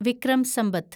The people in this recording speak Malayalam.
വിക്രം സമ്പത്ത്